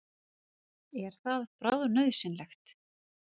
Er það bráðnauðsynlegt?